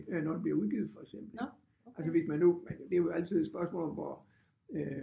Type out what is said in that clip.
Når det bliver udgivet for eksempel altså hvis man nu men det er jo altid et spørgsmål om hvor øh